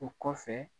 O kɔfɛ